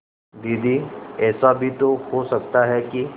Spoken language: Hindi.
दीदी ऐसा भी तो हो सकता है कि